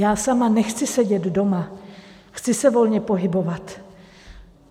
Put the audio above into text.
Já sama nechci sedět doma, chci se volně pohybovat.